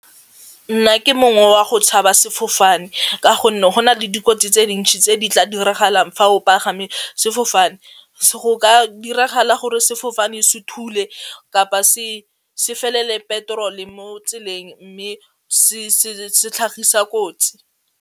Nna ke mongwe wa go tshaba sefofane ka gonne go na le dikotsi tse dintši tse di tla diragalang fa o pagame sefofane, go ka diragala gore sefofane se thule kapa se se felele petrol mo tseleng mme se tlhagisa kotsi.